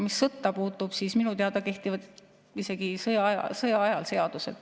Mis sõtta puutub, siis minu teada kehtivad isegi sõjaajal seadused.